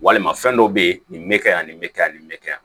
Walima fɛn dɔ bɛ ye nin bɛ ka yan nin bɛ kɛ yan nin bɛ kɛ yan